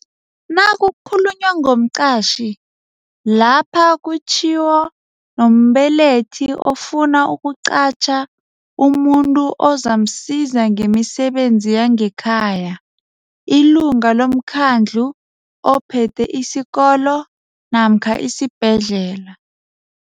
Nakukhulunywa ngomqatjhi lapha kutjhiwo nombelethi ofuna ukuqatjha umuntu ozamsiza ngemisebenzi yangekhaya, ilunga lomkhandlu ophethe isikolo namkha isibhedlela.